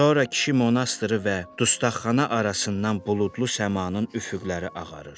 Sonra kişi monastırı və dustaxxana arasından buludlu səmanın üfüqləri ağarır.